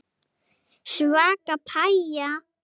Svaka pæja.